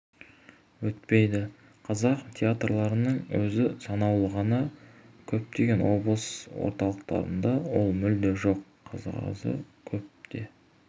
өтпейді қазақ театрларының өзі санаулы ғана көптеген облыс орталықтарында ол мүлде жоқ қазағы көп деп